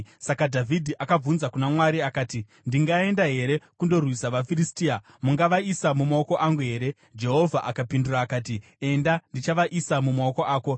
saka Dhavhidhi akabvunza kuna Mwari akati, “Ndingaenda here kundorwisa vaFiristia? Mungavaisa mumaoko angu here?” Jehovha akapindura akati, “Enda ndichavaisa mumaoko ako.”